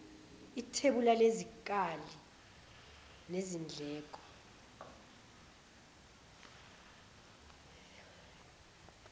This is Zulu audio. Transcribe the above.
ithebula lesikali sezindleko